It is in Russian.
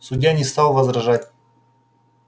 судья не стал возражать